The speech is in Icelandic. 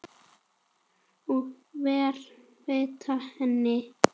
og veita henni.